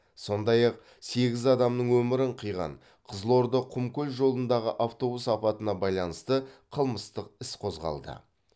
сондай ақ сегіз адамның өмірін қиған қызылорда құмкөл жолындағы автобус апатына байланысты қылмыстық іс қозғалды